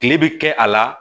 Kile bɛ kɛ a la